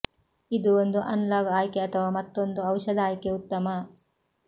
ಇದು ಒಂದು ಅನಲಾಗ್ ಆಯ್ಕೆ ಅಥವಾ ಮತ್ತೊಂದು ಔಷಧ ಆಯ್ಕೆ ಉತ್ತಮ